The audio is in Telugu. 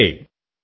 నమస్తే